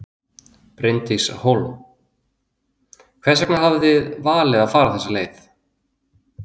Bryndís Hólm: Hvers vegna hafið þið valið að fara þessa leið?